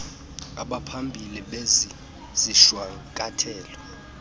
abaphambili bezi zishwankathelo